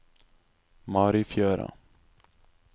Marifjøra